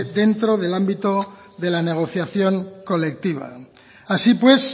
dentro del ámbito de la negociación colectiva así pues